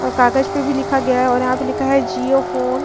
और कागज पे भी लिखा गया और यहाँ पे लिखा है जियो फोन --